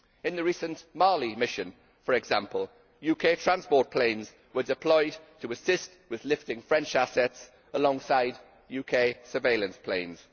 In the recent Mali mission for example, UK transport planes were deployed to assist with lifting French assets alongside UK surveillance planes.